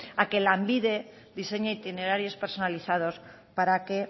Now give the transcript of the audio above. a que lanbide diseñe itinerarios personalizados para que